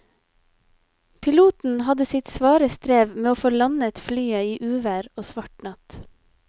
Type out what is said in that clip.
Piloten hadde sitt svare strev med å få landet flyet i uvær og svart natt.